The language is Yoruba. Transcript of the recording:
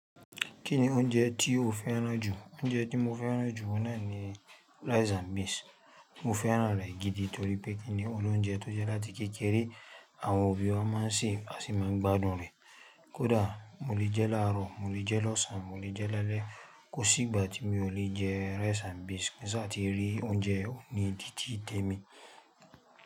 Kí ni oúnjẹ tí o fẹ́ràn jù? Oúnjẹ tí mo fẹ́ràn jù ohun náà ni rice and beans. Mo fẹ́ràn rẹ̀ gidi torípẹ́ kí ni ọlọ́únjẹ tó jẹ́ láti kékeré, àwọn òbí ọ máa ń sè é, à sì máa ń gbádùn rẹ̀. Kódà mo lè jẹ́ lárò, mo lè jẹ́ lọ́sàn, mo lè jẹ́ lálẹ́. Kò sí ìgbà tí mi ò lè jẹ́ rice and beans kí n sá ti rí oúnjẹ òhun ni títí te mí.